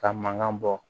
Ka mankan bɔ